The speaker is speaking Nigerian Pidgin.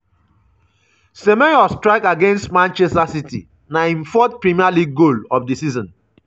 semenyo strike against manchester city - na im fourth premier league goal of di season.